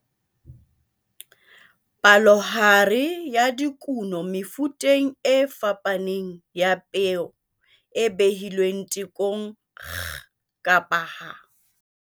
Palohare ya dikuno mefuteng e fapaneng ya peo e behilweng tekong kg kapa ha